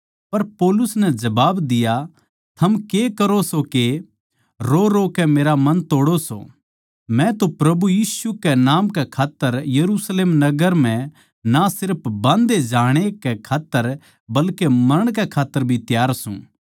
पर उसनै जबाब दिया थम के करो सो के रोरोकै मेरा मन तोड़ो सो मै तो प्रभु यीशु कै नाम कै खात्तर यरुशलेम नगर म्ह ना सिर्फ बाँध्धे जाण ए कै खात्तर बल्के मरण कै खात्तर भी त्यार सूं